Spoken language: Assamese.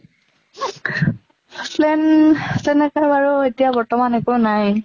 plan তেনেকে বাৰু এতিয়া বৰ্তমান একো নাই